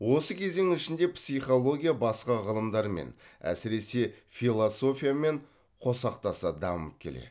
осы кезең ішінде психология басқа ғылымдармен әсіресе философиямен қосақтаса дамып келеді